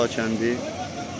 Bucara Hacıqəndi.